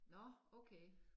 Nå okay